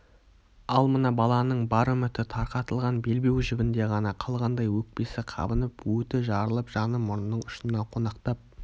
ал мына баланың бар үміті тарқатылған белбеу жібінде ғана қалғандай өкпесі қабынып өті жарылып жаны мұрнының ұшына қонақтап